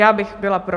Já bych byla pro.